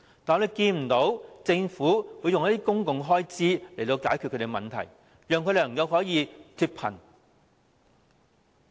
我們看不到政府動用公共開支來解決他們的問題，使他們能夠脫貧。